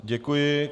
Děkuji.